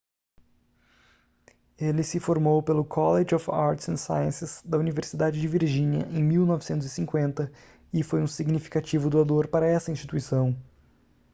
ele se formou pelo college of arts & sciences da universidade de virgínia em 1950 e foi um significativo doador para essa instituição